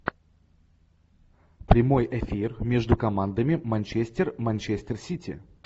прямой эфир между командами манчестер манчестер сити